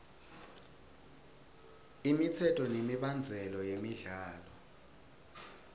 imitsetfo nemibandzela yemidlalo